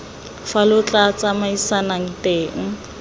fa lo tla tsamaisanang teng